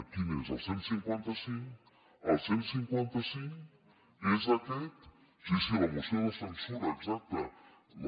quin és el cent i cinquanta cinc el cent i cinquanta cinc és aquest sí sí la moció de censura exacte